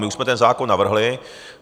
My už jsme ten zákon navrhli.